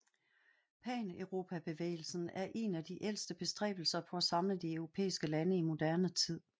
Paneuropabevægelsen er en af de ældste bestræbelser på at samle de europæiske lande i moderne tid